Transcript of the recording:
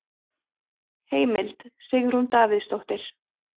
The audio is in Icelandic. Heimild: Sigrún Davíðsdóttir.